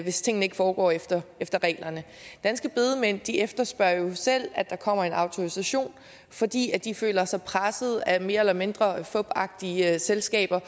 hvis tingene ikke foregår efter efter reglerne danske bedemænd efterspørger jo selv at der kommer en autorisation fordi de føler sig presset af mere eller mindre fupagtige selskaber